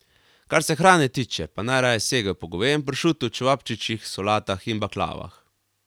Kar se hrane tiče, pa najraje segajo po govejem pršutu, čevapčičih, solatah in baklavah.